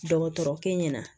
Dɔgɔtɔrɔkɛ ɲɛna